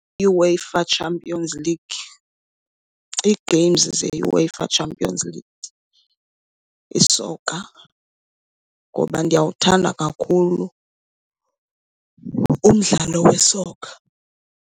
UEFA Champions League, ii-games ze-UEFA Championship League, isoka. Ngoba ndiyawuthanda kakhulu umdlalo wesoka.